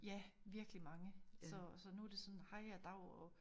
Ja virkelig mange så så nu det sådan hej og dav og